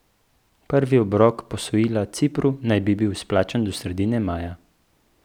Prvi obrok posojila Cipru naj bi bil izplačan do sredine maja.